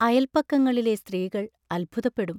അയൽപക്കങ്ങളിലെ സ്ത്രീകൾ അത്ഭുതപ്പെടും.